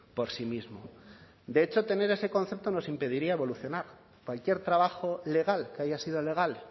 por sí mismo de hecho tener ese concepto nos impediría evolucionar cualquier trabajo legal que haya sido legal